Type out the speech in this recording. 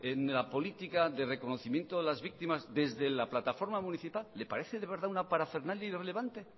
en la política de reconocimiento de las víctimas desde la plataforma municipal le parece de verdad una parafernalia irrelevante